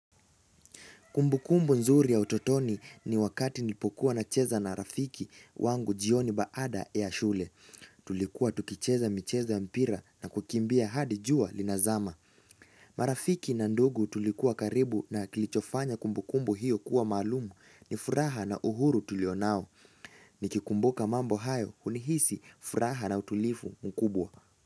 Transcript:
Kumbukumbu nzuri ya utotoni ni wakati nilipokuwa nacheza na rafiki wangu jioni baada ya shule. Tulikuwa tukicheza mcheza wa mpira na kukimbia hadi jua linazama. Marafiki na ndugu tulikuwa karibu na kilichofanya kumbukumbu hiyo kuwa maalumu ni furaha na uhuru tulio nao. Nikikumbuka mambo hayo hunihisi furaha na utulivu mkubwa.